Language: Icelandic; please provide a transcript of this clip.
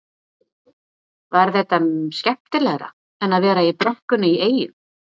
Var þetta skemmtilegra en að vera í brekkunni í Eyjum?